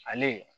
Ale